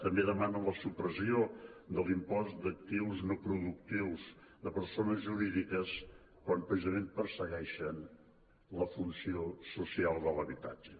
també demanen la supressió de l’impost d’actius no productius de persones jurídiques quan precisament persegueixen la funció social de l’habitatge